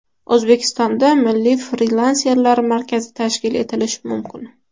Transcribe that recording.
O‘zbekistonda Milliy frilanserlar markazi tashkil etilishi mumkin.